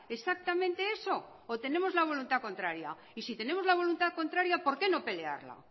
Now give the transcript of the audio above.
exactamente eso o tenemos la voluntad contraria y si tenemos la voluntad contraria por qué no pelearla